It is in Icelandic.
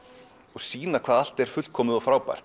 og sýna hvað allt er fullkomið og frábært